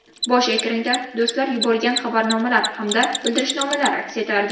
Bosh ekranda do‘stlar yuborgan xabarnomalar hamda bildirishnomalar aks etardi.